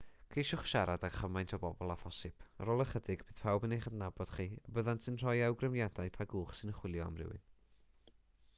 ceisiwch siarad â chymaint o bobl â phosibl ar ôl ychydig bydd pawb yn eich adnabod chi a byddant yn rhoi awgrymiadau pa gwch sy'n chwilio am rywun